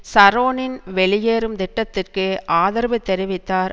ஷரோனின் வெளியேறும் திட்டத்திற்கு ஆதரவு தெரிவித்தார்